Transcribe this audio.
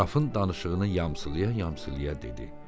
Qrafın danışığını yamsılayıb-yamsılayıb dedi: